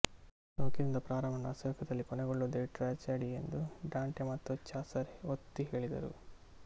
ಸೌಖ್ಯದಿಂದ ಪ್ರಾರಂಭಗೊಂಡು ಅಸೌಖ್ಯದಲ್ಲಿ ಕೊನೆಗೊಳ್ಳುವುದೇ ಟ್ರ್ಯಾಜಡಿಯೆಂದು ಡಾಂಟೆ ಮತ್ತು ಚಾಸರ್ ಒತ್ತಿಹೇಳಿದರು